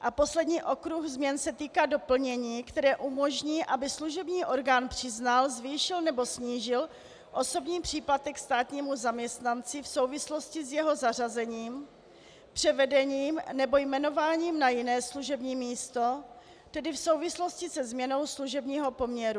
A poslední okruh změn se týká doplnění, které umožní, aby služební orgán přiznal, zvýšil nebo snížil osobní příplatek státnímu zaměstnanci v souvislosti s jeho zařazením, převedením nebo jmenováním na jiné služební místo, tedy v souvislosti se změnou služebního poměru.